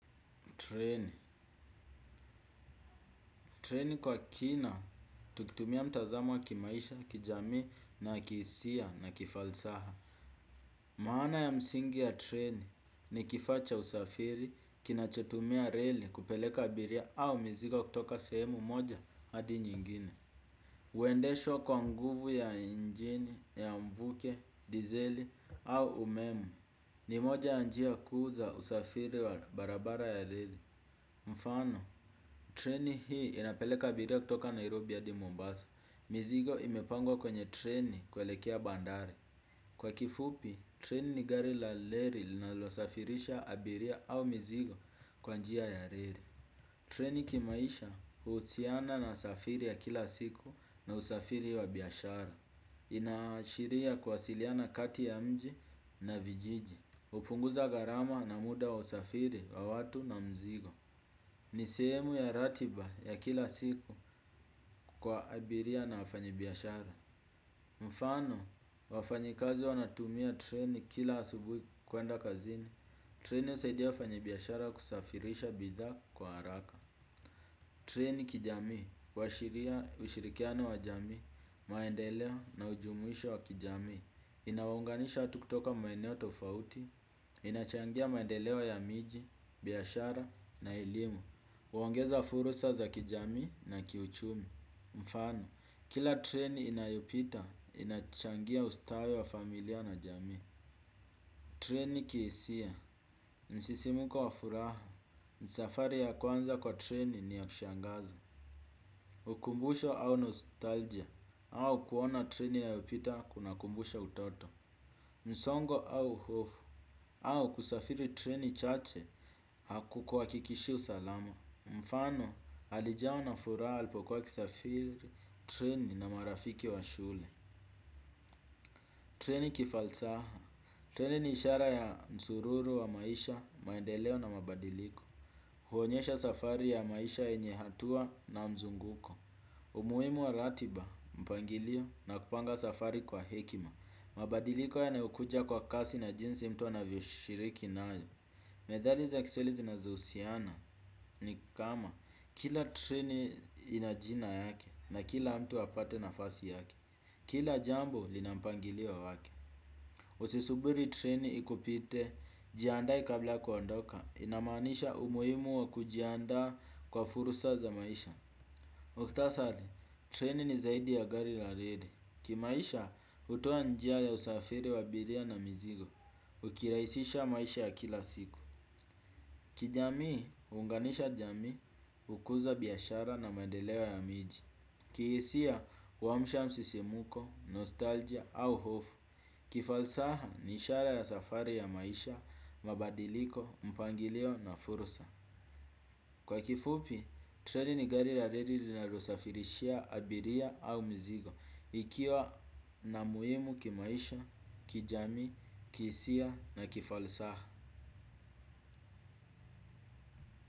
Treni kwa kina tukitumia mtazamo wa kimaisha, kijami na kihisia na kifalsaha. Maana ya msingi ya treni ni kifaa cha usafiri kinachotumia reli kupeleka abiria au mizigo kutoka sehemu moja hadi nyingine. Huendeshwa kwa nguvu ya injini, ya mvuke, dizeli au umeme ni moja ya njia kuu za usafiri wa barabara ya reli. Mfano, treni hii inapeleka abiria kutoka Nairobi hadi Mombasa, mizigo imepangwa kwenye treni kuelekea bandari. Kwa kifupi, treni ni gari la reli linalosafirisha abiria au mzigo kwa njia ya reli. Treni kimaisha huusiana na usafiri ya kila siku na usafiri ya biashara. Inaashiria kuwasiliana kati ya mji na vijiji hupunguza gharama na muda wa usafiri wa watu na mizigo. Ni sehemu ya ratiba ya kila siku kwa abiria na wafanyi biashara. Mfano, wafanyi kazi wanatumia treni kila asubuhi kuenda kazini. Treni husaidia wafanyi biashara kusafirisha bidhaa kwa haraka. Treni kijamii huashiria ushirikiano wa jamii, maendeleo na ujumuhisho wa kijamii. Inawaunganisha watu kutoka maeneo tofauti. Inachangia maendeleo ya miji, biashara na elimu huongeza fursa za kijamii na kiuchumi. Mfano, kila treni inayopita, inachangia ustawi wa familia na jami. Treni kihisia msisimuko wa furaha safari ya kwanza kwa treni ni ya kushangazo. Ukumbusho au nostalgia, au kuona treni inayopita kuna kumbusha utoto. Msongo au hofu au kusafiri treni chache haku kuhakikishi usalama. Mfano alijawa na furaha alipokuwa akisafiri treni na marafiki wa shule. Treni kifalsaha treni ni ishara ya nsururu wa maisha, maendeleo na mabadiliko. Huonyesha safari ya maisha yenye hatua na mzunguko. Umuhimu wa ratiba mpangilio na kupanga safari kwa hekima. Mabadiliko yanayokuja kwa kasi na jinsi mtu anavyoshiriki nayo. Methali za kiswahili zinazohusiana ni kama kila treni ina jina yake na kila mtu apate nafasi yake kila jambo lina mpangilio wake. Usisubiri treni ikupite jiandae kabla ya kuandoka inamaanisha umuhimu wa kujiandaa kwa fursa za maisha. Mkita sali, treni ni zaidi ya gari la reli. Kimaisha hutoa njia ya usafiri wa abiria na mizigo ukiraisisha maisha ya kila siku. Kijamii, huunganisha jamii, hukuza biashara na maendeleo ya miji. Kihisia, huamsha msisimuko, nostalgia au hofu. Kifalsaha, ni ishara ya safari ya maisha, mabadiliko, mpangilio na fursa. Kwa kifupi treni ni gari la reli linalosafirishia abiria au mzigo. Ikiwa na muhimu kimaisha kijamii kihisia na kifalsaha.